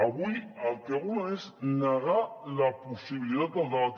avui el que volen és negar la possibilitat del debat